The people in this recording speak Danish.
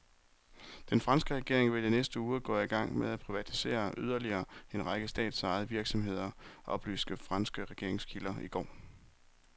Den franske regering vil i næste uge gå i gang med at privatisere yderligere en række statsejede virksomheder, oplyste franske regeringskilder i går.